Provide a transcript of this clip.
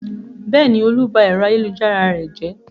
Bẹ́ẹ̀ni, Olú ba ẹ̀rọ ayélujára rẹ jẹ́.